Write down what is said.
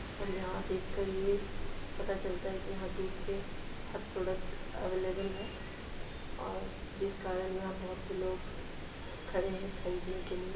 और यहाँ देखकर ये पता चलता है की यहाँ दूध के हर प्रोडक्ट अवेलेबल है और जिस कारण यहाँ बहोत से लोग खड़े है खरीदने के लिए।